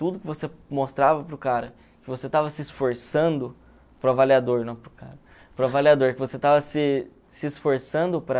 Tudo que você mostrava para o cara, que você estava se esforçando para o avaliador, não para o cara, para o avaliador, que você estava se se esforçando para...